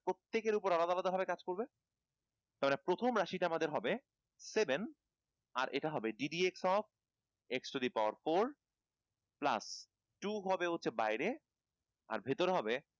প্রত্যেকের উপর আলাদা আলাদা ভাবে কাজ করবে তাহলে প্রথম রাশি টা আমাদের হবে seven আর এটা হবে gdp of x to the power four plus two হবে হচ্ছে বাহিরে আর ভিতরে হবে